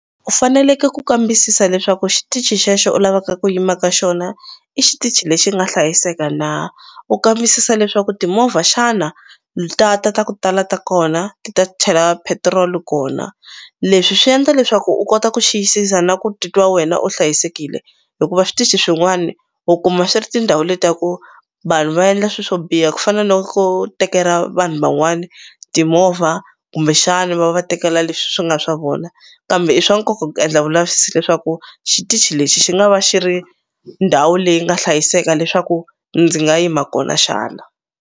U faneleke ku kambisisa leswaku xitichi xexo u lavaka ku yima ka xona i xitichi lexi nga hlayiseka na u kambisisa leswaku timovha xana ta ta ta ku tala ta kona ti ta chela petiroli kona leswi swi endla leswaku u kota ku xiyisisa na ku titwa wena u hlayisekile hikuva switichi swin'wani u kuma swi ri tindhawu leti ta ku vanhu va endla swi swo biha ku fana no ko tekela vanhu van'wani timovha kumbexani va va tekela leswi swi nga swa vona kambe i swa nkoka ku endla vulavisisi leswaku xitichi lexi xi nga va xi ri ndhawu leyi nga hlayiseka leswaku ndzi nga yima kona xana.